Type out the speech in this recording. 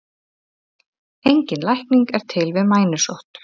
Engin lækning er til við mænusótt.